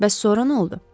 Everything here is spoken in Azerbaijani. Bəs sonra nə oldu?